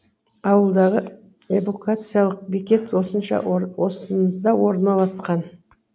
ауылдағы эвакуациялық бекет осында орналасқан